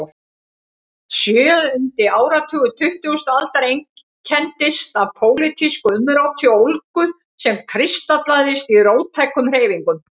Sjöundi áratugur tuttugustu aldar einkenndist af pólitísku umróti og ólgu sem kristallaðist í róttækum hreyfingum.